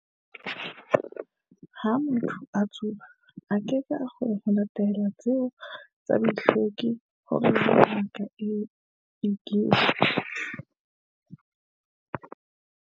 "Ha motho a tsuba, a keke a kgona ho latela ditlwaelo tseo tsa bohlweki," ho rialo Ngaka Egbe.